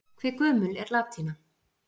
Hve gömul er latína?